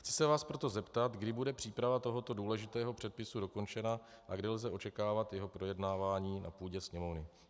Chci se vás proto zeptat, kdy bude příprava tohoto důležitého předpisu dokončena a kdy lze očekávat jeho projednávání na půdě Sněmovny.